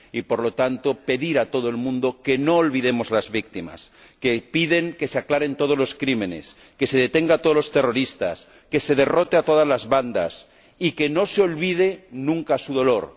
Y, por lo tanto, pedir a todo el mundo que no olvidemos a las víctimas, que piden que se aclaren todos los crímenes, que se detenga a todos los terroristas, que se derrote a todas la bandas y que no se olvide nunca su dolor.